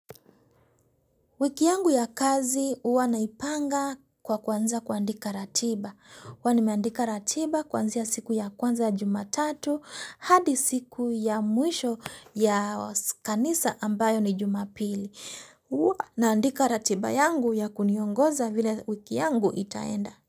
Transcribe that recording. Wiki yangu ya kazi huwa naipanga kwa kwanza kuandika ratiba. Huwa nimeandika ratiba kuanzia siku ya kwanza ya jumatatu hadi siku ya mwisho ya kanisa ambayo ni jumapili. Huwa naandika ratiba yangu ya kuniongoza vile wiki yangu itaenda.